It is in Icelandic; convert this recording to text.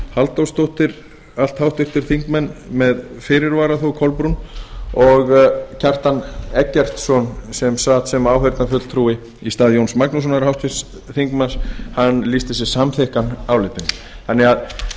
halldórsdóttir allt háttvirtir þingmenn með fyrirvara þó kolbrún háttvirtur þingmaður kjartan eggertsson sat fundinn sem áheyrnarfulltrúi í stað jóns magnússonar háttvirtur þingmaður lýsti sig samþykkan álitinu eins og